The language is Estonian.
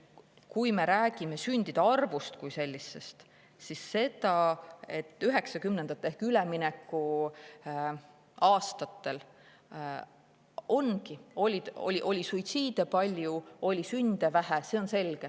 Kui me räägime sündide arvust kui sellisest, siis see, et 1990‑ndatel ehk üleminekuaastatel oli suitsiide palju, aga sünde vähe, on selge.